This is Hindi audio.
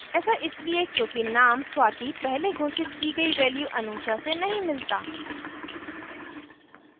ऐसा इसलिए क्योंकि name swati पहले घोषित की गयी value anusha से नहीं मिलता